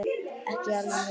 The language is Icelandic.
Ekki í alvöru.